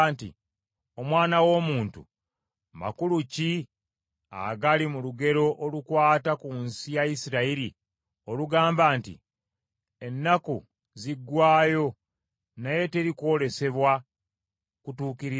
“Omwana w’omuntu, makulu ki agali mu lugero olukwata ku nsi ya Isirayiri, olugamba nti, ‘Ennaku ziggwaayo naye teri kwolesebwa kutuukirira?’